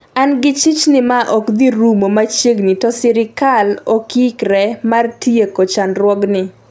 "an gi chich ni ma okdhi rumo machiegni to sirkal okoikre mar tieko chandruog ni